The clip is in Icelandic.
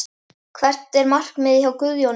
Hvert er markmiðið hjá Guðjóni?